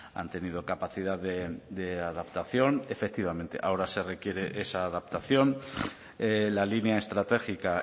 han tenido capacidad de adaptación efectivamente ahora se requiere esa adaptación la línea estratégica